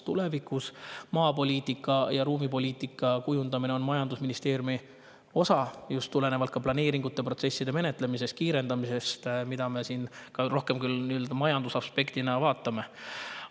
Tulevikus on maapoliitika ja ruumipoliitika kujundamine majandusministeeriumi osa just planeeringute protsesside menetlemise kiirendamise tõttu, mida me siin ka, rohkem küll majandusaspektist, vaatame.